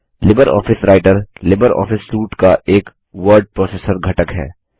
Libre office Writer LibreOffice suite का एक word processor घटक है